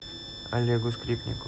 олегу скрипнику